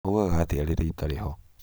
maugaga atĩa rĩrĩa itarĩ ho?